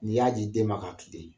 Ni y'a ji den ma ka kilen.